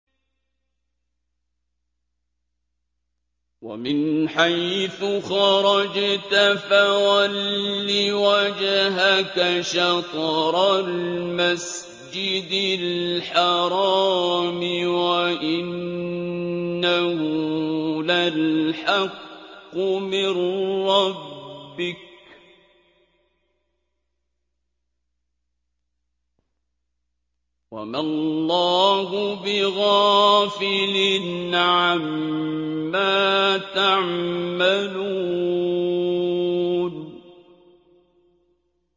وَمِنْ حَيْثُ خَرَجْتَ فَوَلِّ وَجْهَكَ شَطْرَ الْمَسْجِدِ الْحَرَامِ ۖ وَإِنَّهُ لَلْحَقُّ مِن رَّبِّكَ ۗ وَمَا اللَّهُ بِغَافِلٍ عَمَّا تَعْمَلُونَ